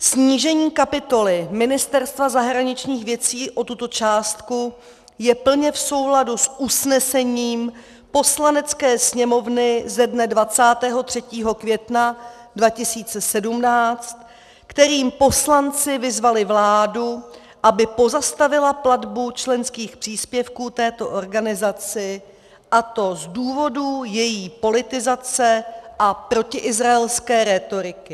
Snížení kapitoly Ministerstva zahraničních věcí o tuto částku je plně v souladu s usnesením Poslanecké sněmovny ze dne 23. května 2017, kterým poslanci vyzvali vládu, aby pozastavila platbu členských příspěvků této organizaci, a to z důvodu její politizace a protiizraelské rétoriky.